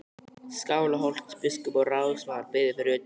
Skálholtsbiskup og ráðsmaður biðu fyrir utan.